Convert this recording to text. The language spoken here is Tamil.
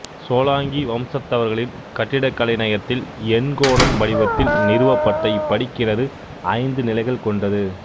சோலாங்கி வம்சத்தவர்களின் கட்டிடக் கலைநயத்தில் எண்கோணம் வடிவத்தில் நிறுவப்பட்ட இப்படிக்கிணறு ஐந்து நிலைகள் கொண்டது